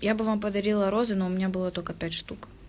я бы вам подарила розы но у меня было только пять штук